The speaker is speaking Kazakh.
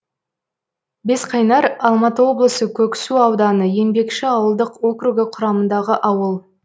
бесқайнар алматы облысы көксу ауданы еңбекші ауылдық округі құрамындағы ауыл